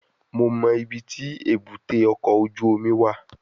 Mo mọ ibiti ebute oko oju omi wa